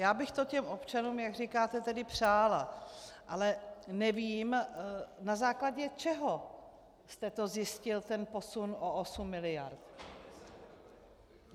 Já bych to těm občanům, jak říkáte, tedy přála, ale nevím, na základě čeho jste to zjistil, ten posun o 8 miliard.